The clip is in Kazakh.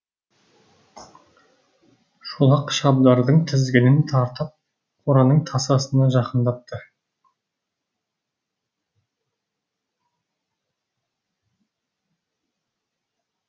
шолақ шабдардың тізгінін тартып қораның тасасына жақындатты